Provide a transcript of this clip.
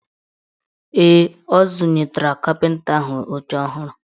Ee, ọ zụnatara kapịnta ahụ oche ọhụrụ.